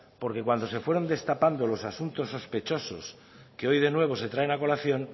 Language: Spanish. porque cuando se fueron destapando loas asuntos sospechosos que hoy de nuevo se traen a colación